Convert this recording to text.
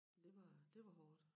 Det var det var hårdt